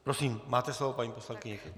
Prosím, máte slovo, paní poslankyně.